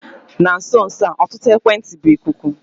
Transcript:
Na nso nso a ọtụtụ ekwentị bụ ikuku.